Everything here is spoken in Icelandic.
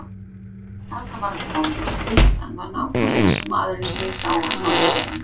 Þarna var hann kominn, styttan var nákvæmlega eins og maðurinn sem ég sá á námskeiðinu.